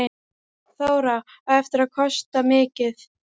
Þóra: Á þetta eftir að kosta mikið?